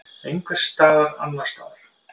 Einhvers staðar annars staðar.